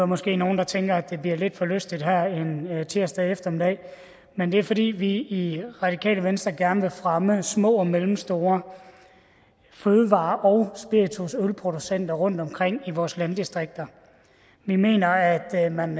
måske nogle der tænker at det bliver lidt for lystigt her en tirsdag eftermiddag men det er fordi vi i radikale venstre gerne vil fremme små og mellemstore fødevare og spiritus ølproducenter rundtomkring i vores landdistrikter vi mener at man